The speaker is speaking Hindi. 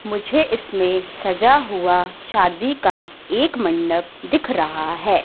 मुझे इसमें सजा हुआ शादी का एक मंडप दिख रहा है।